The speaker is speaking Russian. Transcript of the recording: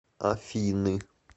афины